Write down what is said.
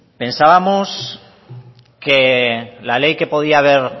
pensábamos que la ley que podía ver